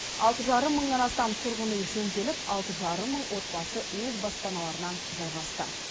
алты жарым мыңнан астам тұрғын үй жөнделіп алты жарым мың отбасы өз баспаналарына жайғасты